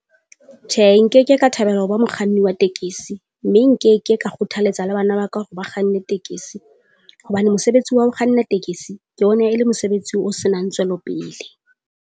Tjhe, nkeke ka thabela ho ba mokganni wa tekesi, mme nkeke ka kgothaletsa le bana ba ka hore ba kganne tekesi. Hobane mosebetsi wa ho kganna tekesi ke yona e le mosebetsi o senang tswelopele.